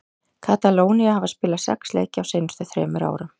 Katalónía hafa spilað sex leiki á seinustu þremur árum.